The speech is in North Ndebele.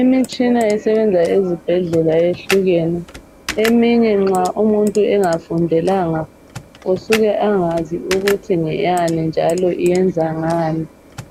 Imitshina esebenza ezibhedlela yehlukene. Eminye nxa muntu engafundelanga usuke angazi ukuthi ngeyani njalo iyenza ngani.